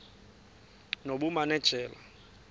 nobumanejala